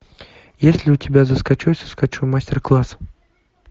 есть ли у тебя захочу и соскочу мастер класс